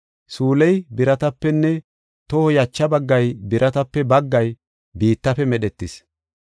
suyley biratapenne toho yacha baggay biratape baggay biittafe medhetis.